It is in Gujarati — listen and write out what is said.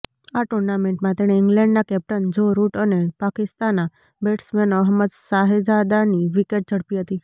આ ટૂર્નામેન્ટમાં તેણે ઇંગ્લેન્ડના કેપ્ટન જો રૂટ અને પાકિસ્તાના બેટ્સમેન અહમદ શહેજાદની વિકેટ ઝડપી હતી